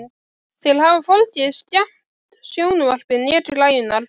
Þeir hafa hvorki skemmt sjónvarpið né græjurnar.